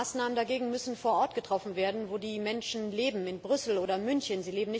Maßnahmen dagegen müssen vor Ort getroffen werden, wo die Menschen leben in Brüssel oder München.